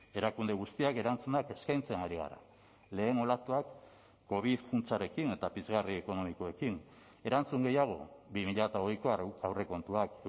erakunde guztiak erantzunak eskaintzen ari gara lehen olatuak covid funtsarekin eta pizgarri ekonomikoekin erantzun gehiago bi mila hogeiko aurrekontuak